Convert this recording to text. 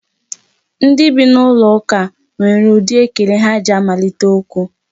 Ndị bi n'ụlọ ụka nwere ụdị ekele ha ji amalite okwu.